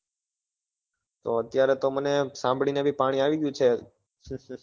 તો અત્યારે તો મને સાંભળી ને બી પાણી આવી ગયું છે,